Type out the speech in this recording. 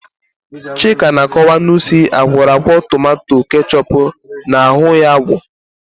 Chika na-akọwa na usi akwọrọakwọ tomanto kechọpu na-aghu ya agbọọ.